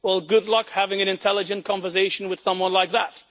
Well, good luck having an intelligent conversation with someone like that.